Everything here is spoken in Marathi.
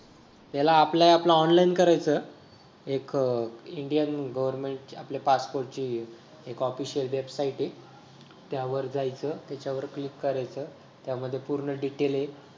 ह्याला apply आपलं online करायचं. एक indian government ची आपल्या passport ची एक official website हय. त्यावर जायचं त्याच्यावर click करायचं. त्यामध्ये पूर्ण detail येईल.